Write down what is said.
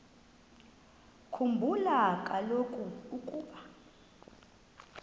khumbula kaloku ukuba